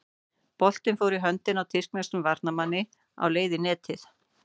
Boltinn fór í höndina á tyrkneskum varnarmanni á leið í netið.